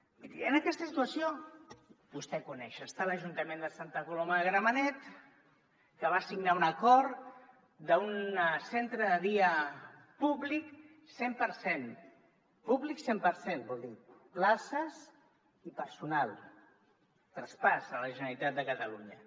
miri en aquesta situació vostè ho coneix hi està l’ajuntament de santa colo·ma de gramenet que va signar un acord d’un centre de dia públic cent per cent pú·blic cent per cent vol dir places i personal traspàs a la generalitat de catalunya